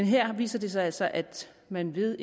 her viser det sig altså at man ved